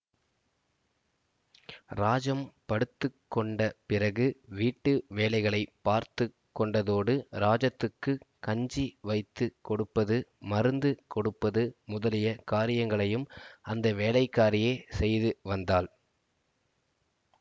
ராஜம் படுத்து கொண்ட பிறகு வீட்டு வேலைகளைப் பார்த்து கொண்டதோடு ராஜத்துக்குக் கஞ்சி வைத்து கொடுப்பது மருந்து கொடுப்பது முதலிய காரியங்களையும் அந்த வேலைக்காரியே செய்து வந்தாள்